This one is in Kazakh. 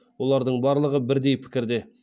олардың барлығы бірдей пікірде